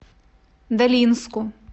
долинску